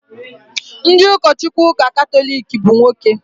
Ndị ụkọchukwu ụka Katọlik bụ nwoke